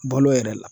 Balo yɛrɛ la